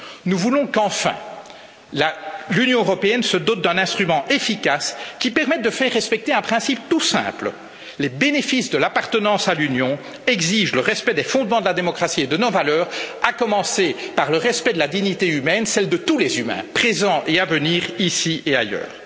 Nous voulons qu'enfin, l'Union européenne se dote d'un instrument efficace qui permette de faire respecter un principe tout simple les bénéfices de l'appartenance à l'Union exigent le respect des fondements de la démocratie et de nos valeurs, à commencer par le respect de la dignité humaine, celle de tous les humains présents et à venir, ici et ailleurs.